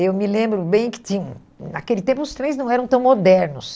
Eu me lembro bem que tinha naquele tempo os trens não eram tão modernos.